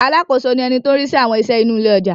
Alákòóso ni ẹni tó ń rí sí àwọn iṣẹ́ inú ilé ọjà.